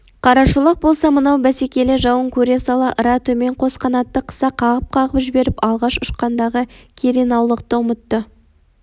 қарашолақ болса мынау бәсекелі жауын көре сала ыра төмен қос қанатты қыса қағып-қағып жіберіп алғаш ұшқандағы керенаулықты ұмытты